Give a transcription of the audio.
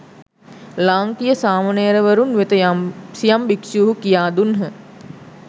ලාංකීය සාමණේරවරුන් වෙත සියම් භික්‍ෂුහු කියා දුන්හ